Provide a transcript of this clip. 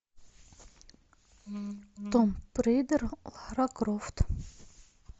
томб рейдер лара крофт